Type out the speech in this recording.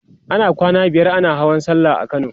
ana kwana biyar ana Hawan sallah a kano